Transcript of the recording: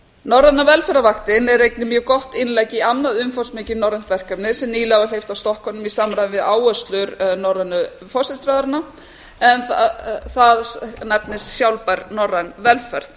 norræna velferðarvaktin er einnig mjög gott innlegg í annað umfangsmikið norrænt verkefni sem nýlega var hleypt af stokkunum í samræmi við áherslur norsku forsætisráðherranna en það nefnist sjálfbær norræn velferð